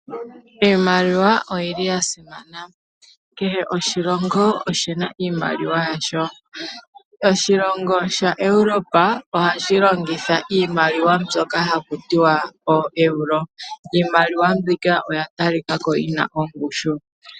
Iimaliwa oyili yasimana. Kehe oshilongo oshina iimaliwa yasho. Oshilongo shaEuropa ohashi longitha iimaliwa mbyoka haku tiwa ooEuro iimaliwa mbika oya talika ko yina ongushu.